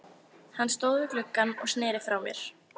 Hann stóð við gluggann og sneri frá mér.